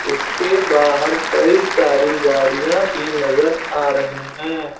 इसके बाहर कई सारी गाड़ियाँ भी नजर आ रही है।